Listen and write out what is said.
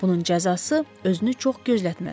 Bunun cəzası özünü çox gözlətməz.